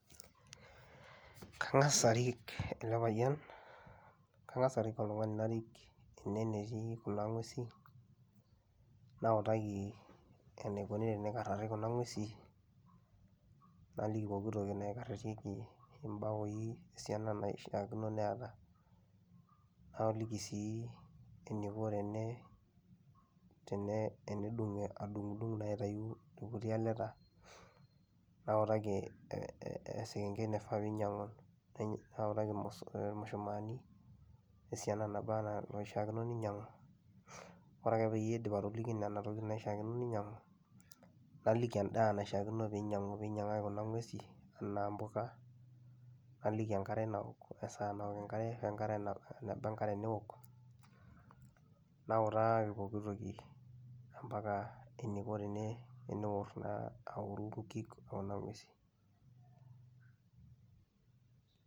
Kang'asa arik ele payian kang'as arik oltung'ani narik ene enetii kuna ng'uesin nautaki enikuni tenikarari kuna ng'uesin, naliki pooki toki naikararieki imbao esiana naishaakino neeta, naliki sii eniko tenee tene enedung' adung'dung' naa aitayu irkuti aleta, nautaki ee ee esekenkei naifaa piinyang'u, nainy nautaki irmo irmushumaani esiana naba naa naishaakino ninyang'u. Ore ake peyie aidip atoliki nena tokitin naishaakino ninyang'u, naliki endaa naishaakino piinyang'u piinyang'aki kuna ng'uesi enaa mpuka, naliki enkare nawok, esaa nawok enkare we nkare naw eneba enkare nawok, nautaaki pooki toki e mpaka eniko tene eneor naa aworu nkik e kuna ng'uesin.